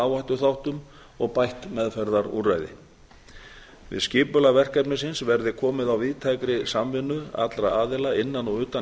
áhættuþáttum og bætt meðferðarúrræði við skipulag verkefnisins verði komið á víðtækri samvinnu allra aðila innan og utan